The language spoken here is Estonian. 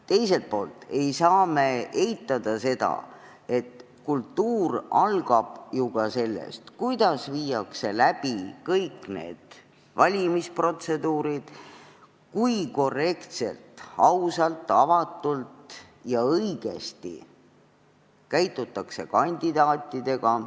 Teiselt poolt ei saa me eitada, et kultuur algab ju ka sellest, kuidas viiakse läbi kõik valimisprotseduurid, kui korrektselt, ausalt, avatult ja õigesti käitutakse kandidaatidega.